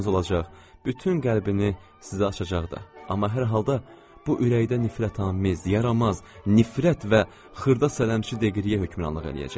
Bütün qəlbini sizə açacaq da, amma hər halda bu ürəkdə nifrətamiz, yaranmaz, nifrət və xırda sələmçi deqriyə hökmranlıq eləyəcək.